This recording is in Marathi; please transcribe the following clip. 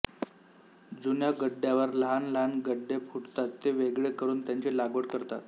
जुन्या गड्डयावर लहान लहान ग्ड्डे फुटतात ते वेगळे करून त्यांची लागवड करतात